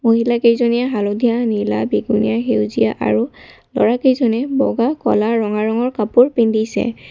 মহিলা কেইজনীয়ে হালধীয়া নীলা বেঙুনীয়া সেউজীয়া আৰু ল'ৰা কেইজনে বগা কলা ৰঙা ৰঙৰ কাপোৰ পিন্ধিছে।